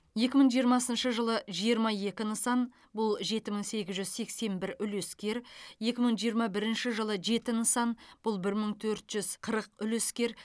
екі мың жиырмасыншы жылы жиырма екі нысан бұл жеті мың сегіз жүз сексен бір үлескер екі мың жиырма бірінші жылы жеті нысан бұл бір төрт жүз қырық үлескер